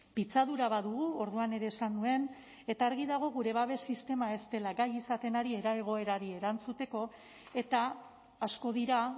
pitzadura bat dugu orduan ere esan nuen eta argi dago gure babes sistema ez dela gai izaten ari egoerari erantzuteko eta asko dira